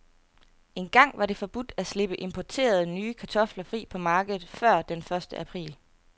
Engang var det forbudt at slippe importerede, nye kartofler fri på markedet før den første april.